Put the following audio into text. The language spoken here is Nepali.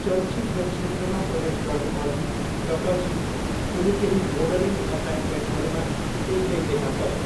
चलचित्र क्षेत्रमा प्रवेश गर्नुअघि र पछि उनी केही मोडलिङ असाइनमेन्टहरूमा एक्लै देखा परिन्।